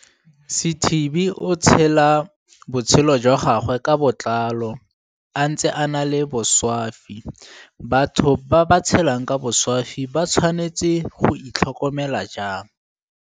Sithibe o tshela botshelo jwa gagwe ka botlalo a ntse a na le boswafi Batho ba ba tshelang ka boswafi ba tshwanetse go itl hokomela jang?